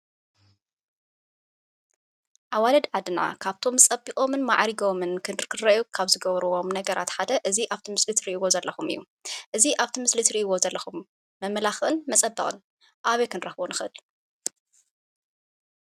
ኣዋልድ ዓድና ካብቶም ፀቢቖምን ማዕሪጎም ክርኣዩ ካብ ዝገብርዎም ነገራት ሓደ እዚ ኣብቲ ምስሊ እትርእይዎ ዘለኹም እዩ። እዚ ኣብቲ ምስሊ እትርእይዎ ዘለኹም መመላኽዕን መፀበቅን ኣበይ ክንረክቦ ንክእል?